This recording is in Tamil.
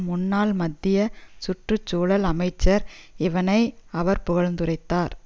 முன்னாள் மத்திய சுற்று சூழல் அமைச்சர் இவனை அவர் புகழ்ந்துரைத்தார்